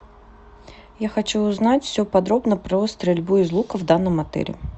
я хочу узнать все подробно про стрельбу из лука в данном отеле